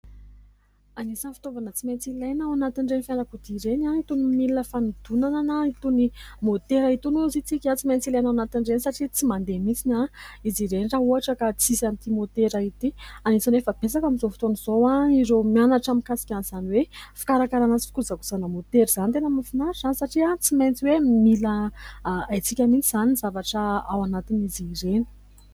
Anisan' ny fitaovana tsy maintsy ilaina ao anatin'ireny fiarakodia ireny itony milina fanodonana, na itony motera itony satria tsy maintsy ilaina ao anatin'ireny. Satria tsy mandeha mihitsy izy ireny raha ohatra ka tsy misy an' ity motera ity. Anisany efa betsaka amin'izao fotoana izao ireo mianatra mikasika an' izany hoe fikarakarana sy fikojakojana motera izany. Tena mahafinaritra satria tsy maintsy hoe mila haitsika mihitsy izany ny zavatra ao anatin' izy ireny.